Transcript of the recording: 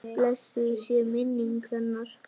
Blessuð sé minning hennar!